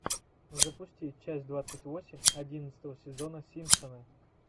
запусти часть двадцать восемь одиннадцатого сезона симпсоны